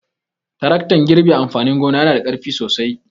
Taraktan girbe amfanin gona yana da ƙarfi sosai.